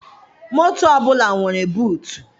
Moto ọbụla nwere buutu.